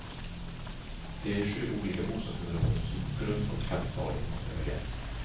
Det är i sju olika bostadsområden som grundfondkapitalet måste höjas.